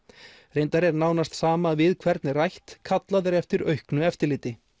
reyndar er nánast sama við hvern er rætt kallað er eftir auknu eftirliti